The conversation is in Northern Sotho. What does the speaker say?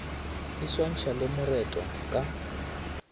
di swantšhwa le moretwa ka